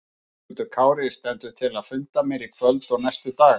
Höskuldur Kári: Stendur til að funda meira í kvöld og næstu daga?